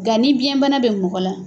Nga ni biyɛnbana bɛ mɔgɔ la.